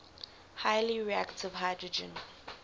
highly reactive hydrogen